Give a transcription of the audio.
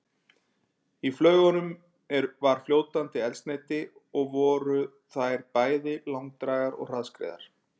Í flaugunum var fljótandi eldsneyti og voru þær bæði langdrægar og hraðskreiðar.